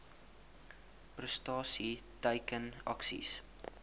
prestasie teiken aksies